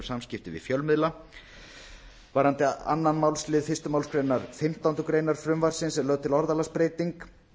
samskipti við fjölmiðla varðandi önnur málsl fyrstu málsgrein fimmtándu greinar frumvarpsins er lögð til orðalagsbreyting